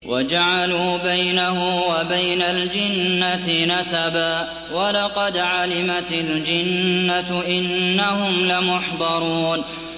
وَجَعَلُوا بَيْنَهُ وَبَيْنَ الْجِنَّةِ نَسَبًا ۚ وَلَقَدْ عَلِمَتِ الْجِنَّةُ إِنَّهُمْ لَمُحْضَرُونَ